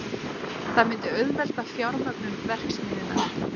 Það myndi auðvelda fjármögnun verksmiðjunnar